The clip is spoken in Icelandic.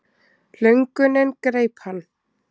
Löngunin greip hann.